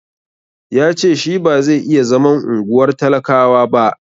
Ya ce shi ba zai iya zaman unguwar talakawa ba.